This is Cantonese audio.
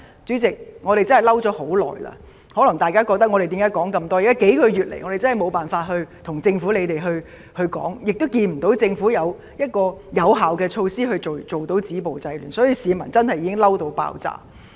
主席，我們真的憤怒很久了，大家可能問為何我們要說這麼多，這是因為近數月以來，我們實在無法向政府表達，亦看不到政府採取有效止暴制亂的措施，市民確實已"嬲到爆炸"。